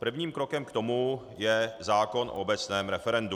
Prvním krokem k tomu je zákon o obecném referendu.